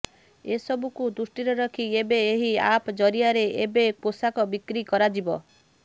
ଏସବୁକୁ ଦୃଷ୍ଟିରେ ରଖି ଏବେ ଏହି ଆପ ଜରିଆରେ ଏବେ ପୋଷାକ ବିକ୍ରି କରାଯିବ